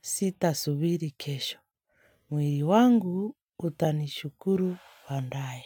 sitasubiri kesho. Mwiri wangu utanishukuru bandae.